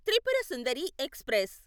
Tripura Sundari express